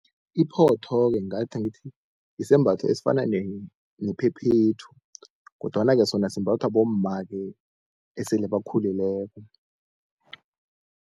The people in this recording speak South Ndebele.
Iphotho-ke ngithi yisembatho esifana nephephethu kodwana-ke sona simbathwa bomma-ke esele bakhulileko.